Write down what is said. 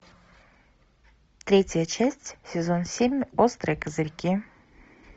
третья часть сезон семь острые козырьки